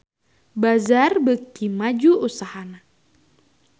Bazaar beuki maju usahana